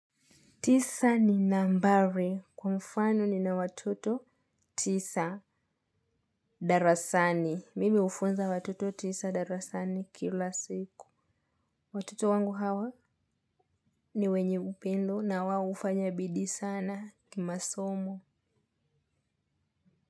Tisa ni nambari. Kwa mfano nina watoto tisa darasani. Mimi hufunza watoto tisa darasani kila siku. Watoto wangu hawa ni wenye upendo na wao hufanya bidii sana kimasomo.